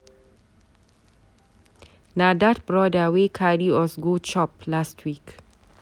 Na dat brother wey carry us go chop last week.